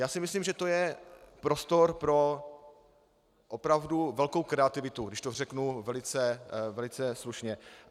Já si myslím, že to je prostor pro opravdu velkou kreativitu, když to řeknu velice slušně.